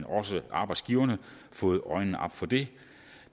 også arbejdsgiverne fået øjnene op for det